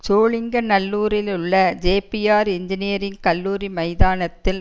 சோழிங்கநல்லூரிலுள்ள Jeppiaar engineering கல்லூரி மைதானத்தில்